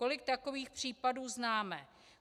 Kolik takových případů známe.